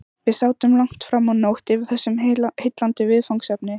Við sátum langt framá nótt yfir þessu heillandi viðfangsefni.